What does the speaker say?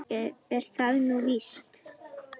Er það nú víst?